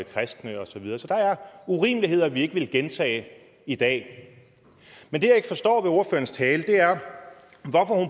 kristne og så videre så der er urimeligheder vi ikke ville gentage i dag men det jeg ikke forstår ved ordførerens tale er